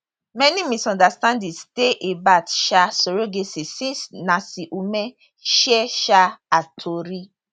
many misunderstandings dey about um surrogacy since nancy umeh share um her tori